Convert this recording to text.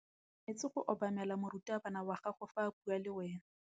O tshwanetse go obamela morutabana wa gago fa a bua le wena.